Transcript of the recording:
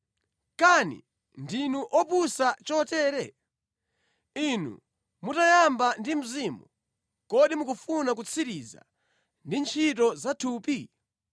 Kani ndinu opusa chotere? Inu mutayamba ndi Mzimu, kodi mukufuna kutsiriza ndi ntchito zathupi?